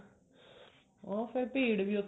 ਉਹ ਫੇਰ ਭੀੜ ਦੀ ਉੱਥੇ ਕਿੰਨੀ ਹੁੰਦੀ ਹੈ